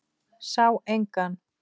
Sá engan.